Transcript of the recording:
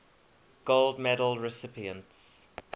gold medal recipients